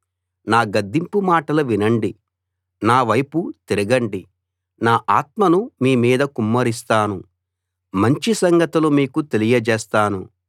నా గద్దింపు మాటలు వినండి నా వైపు తిరగండి నా ఆత్మను మీ మీద కుమ్మరిస్తాను మంచి సంగతులు మీకు తెలియజేస్తాను